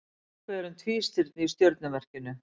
Nokkuð er um tvístirni í stjörnumerkinu.